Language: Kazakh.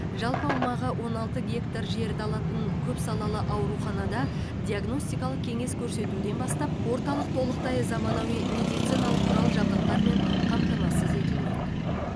жалпы аумағы он алты гектар жерді алатын көпсалалы ауруханада диагностикалық кеңес көрсетуден бастап орталық толықтай заманауи медициналық құрал жабдықтармен қамтамасыз етілмек